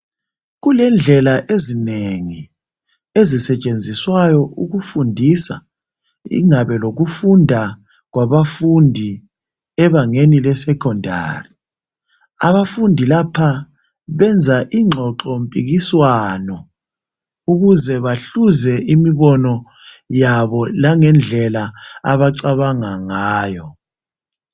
Kulendlela ezinengi ezisetshenziswayo ukufundisa. Ingabe lokufunda kwabafundi ebangeni le secondary .Abafundi lapha benza ingxoxo mpikiswano .Ukuze bahluze imibono yabo langendlela abacabanga ngayo .